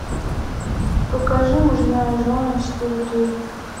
покажи мужья и жены четыре кей